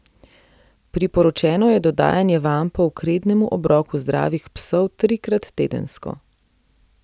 Priporočeno je dodajanje vampov k rednemu obroku zdravih psov trikrat tedensko.